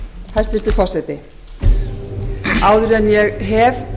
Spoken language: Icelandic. hæstvirtur forseti áður en ég hef